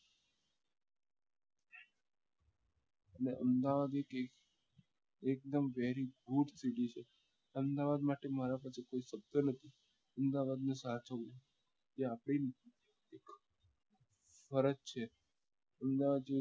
અને અમદાવાદ એટલે એકદમ very good city છે અમદાવાદ માટે મારા પાસે કોઈ શબ્દ નથી અમદાવાદ ને સાચવીએ તે આપડી ફરજ છે અમદાવાદ જેવી